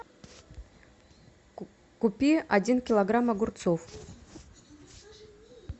купи один килограмм огурцов